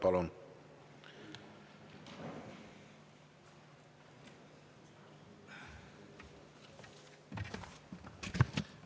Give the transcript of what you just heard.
Palun!